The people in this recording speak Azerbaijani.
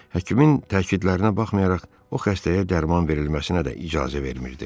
Həkimin təkidlərinə baxmayaraq, o xəstəyə dərman verilməsinə də icazə vermirdi.